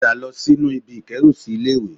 Padà lọ sínú ibi ìkérùsí ilé-ìwé